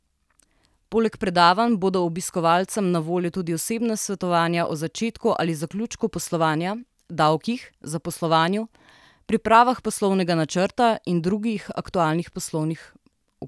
Poleg predavanj bodo obiskovalcem na voljo tudi osebna svetovanja o začetku ali zaključku poslovanja, davkih, zaposlovanju, pripravah poslovnega načrta in drugih aktualnih poslovnih vprašanj.